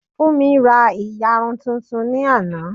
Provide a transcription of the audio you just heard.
Fúnmi ra ìyarun tuntun ní àná